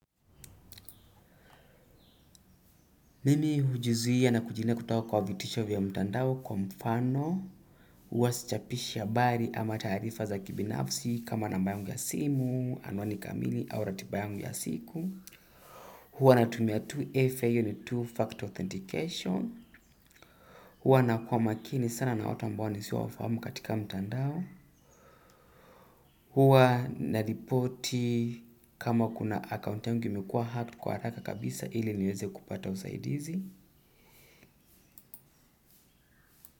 Mimi hujizuia na kujilinda kutoka kwa vitisho vya mtandao kwa mfano. Huwa sichapishi habari ama taarifa za kibinafsi kama namba yangu ya simu, anwani kamili au ratiba yangu ya siku. Huwa natumia 2FA hiyo ni two factor authentication. Huwa nakuwa makini sana na watu ambao nisio wafahamu katika mtandao. Huwa naripoti kama kuna account yangu imekuwa hacked kwa haraka kabisa ili niweze kupata usaidizi.